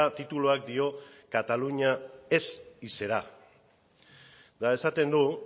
tituluak dio cataluña es y será eta esaten du